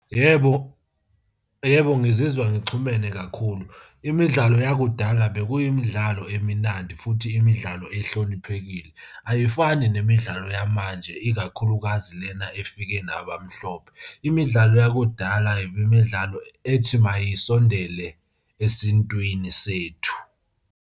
Yebo, yebo ngizizwa ngixhumene kakhulu. Imidlalo yakudala bekuyimidlalo eminandi, futhi imidlalo ehloniphekile. Ayifani nemidlalo yamanje, ikakhulukazi lena efike nabamhlophe. Imidlalo yakudala, imidlalo ethi mayisondele esintwini sethu.